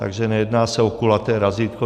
Takže nejedná se o kulaté razítko.